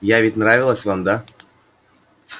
я ведь нравилась вам да